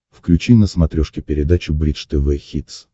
включи на смотрешке передачу бридж тв хитс